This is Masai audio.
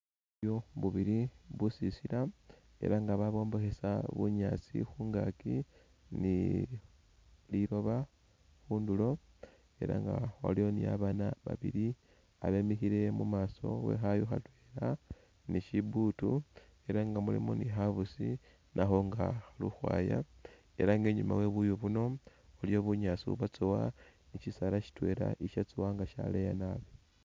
Buyu bubili, busisila era nga babwombekhesa bunyaasi khungaki nililoba khundulo era nga waliwo ni babana babili babemikhile imaso we khayu khatwela nishibutu era nga mulimu ni khabusi nakho nga khali ukhwaya era nga inyuma webuyu buno waliyo bunyaasi ubwatsowa ni shisaala shitwela ishatsowa nga shaleya naabi.